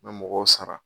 N bɛ mɔgɔw sara